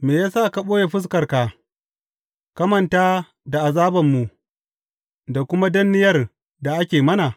Me ya sa ka ɓoye fuskarka ka manta da azabanmu da kuma danniyar da ake mana?